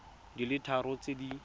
di le tharo tse di